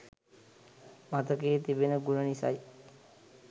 මතකයේ තිබෙන ගුණ නිසයි